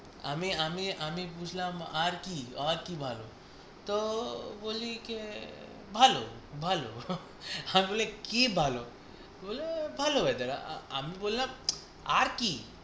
আমি আমি আমি বুঝলাম আর কি আর কি ভালো? তো বলি কে ভালো ভালো আমি বললাম কি ভালো ভালো weather আমি বললাম আর কি?